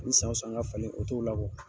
Ni san san n ga falen, o t'o la